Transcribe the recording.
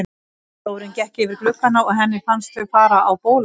Sjórinn gekk yfir gluggana og henni fannst þau fara á bólakaf.